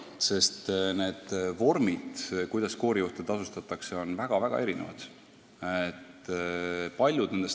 Sest need vormid, kuidas koorijuhte tasustatakse, on paraku väga-väga erinevad.